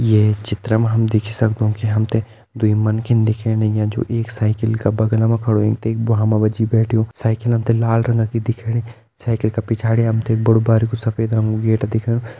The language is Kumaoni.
ये चित्र मा हम देखि सक्दु कि हम तें दुई मन्खिन दिखेण लग्यां जो एक साईकिल का बगलम खड़ु वें ते भ्वाँ मा जी बैठ्युं साईकिलन तें लाल रंगा की दिखेणी साईकिल का पिछाड़ी हम तें बड़ु बारिकु सफ़ेद रंग कु गेट दिखेणु।